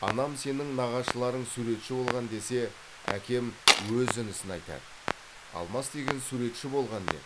анам сенің нағашыларың суретші болған десе әкем өз інісін айтады алмас деген суретші болған деп